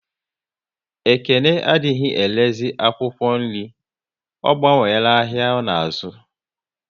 Ekene adịghị erezi akwụkwọ nri, ọ gbanwela ahịa ọ na azu